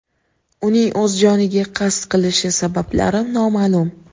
Uning o‘z joniga qasd qilishi sabablari noma’lum.